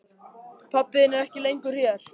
Pabbi þinn er ekki lengur hér.